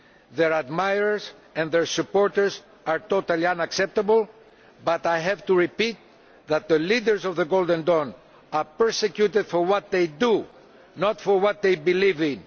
Their admirers and their supporters are totally unacceptable, but I have to repeat that the leaders of Golden Dawn are persecuted for what they do, not for what they believe in.